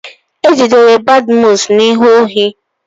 E jidere Badmus na-ezu ohi.